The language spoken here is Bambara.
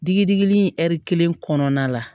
Digi digili in ɛri kelen kɔnɔna la